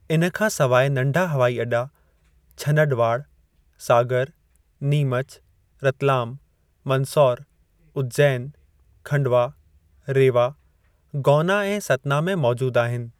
इन खां सवाइ नंढा हवाई अॾा छनडवाड़, सागर, नीमच, रतलाम, मंदसौर, उज्जैन, खंडवा, रेवा, गौना ऐं सतना में मौजूदु आहिनि।